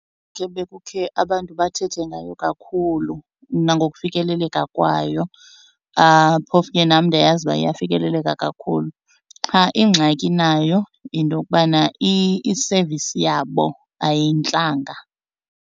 abantu bathethe ngayo kakhulu nangokufikeleleka kwayo phofu ke nam ndiyayazi uba iyafikeleleka kakhulu. Qha ingxaki nayo yinto yokubana i-service yabo ayintlanga.